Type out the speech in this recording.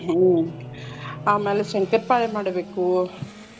ಹ್ಮ್ ಆಮ್ಯಾಲ್ ಶಂಕರ್ಪಾಳೆ ಮಾಡ್ಬೇಕು.